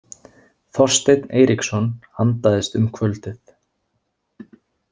Þorsteinn Eiríksson andaðist um kvöldið.